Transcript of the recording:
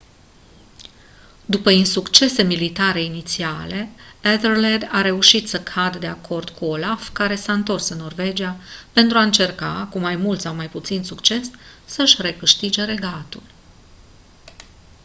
după insuccese militare inițiale ethelred a reușit să cadă de acord cu olaf care s-a întors în norvegia pentru a încerca cu mai mult sau mai puțin succes să-și recâștige regatul